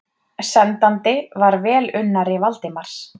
Sendandi var velunnari Valdimars.